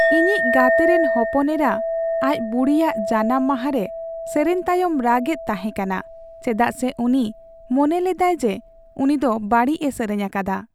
ᱤᱧᱤᱧ ᱜᱟᱛᱮ ᱨᱮᱱ ᱦᱚᱯᱚᱱ ᱮᱨᱟ ᱟᱡ ᱵᱩᱰᱤᱭᱟᱜ ᱡᱟᱱᱟᱢ ᱢᱟᱦᱟ ᱨᱮ ᱥᱮᱨᱮᱧ ᱛᱟᱭᱚᱢ ᱨᱟᱜᱼᱮᱫ ᱛᱟᱦᱮᱸ ᱠᱟᱱᱟ ᱪᱮᱫᱟᱜ ᱥᱮ ᱩᱱᱤ ᱢᱚᱱᱮ ᱞᱮᱫᱟᱭ ᱡᱮ ᱩᱱᱤ ᱫᱚ ᱵᱟᱹᱲᱤᱡ ᱮ ᱥᱮᱨᱮᱧ ᱟᱠᱟᱫᱟ ᱾